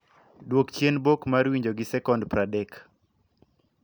duok chien bok mar winjo gi sekond praadek